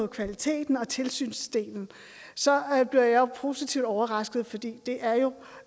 kvaliteten og tilsynsdelen så bliver jeg positivt overrasket for det er jo